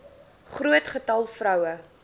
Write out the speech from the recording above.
groot getal vroue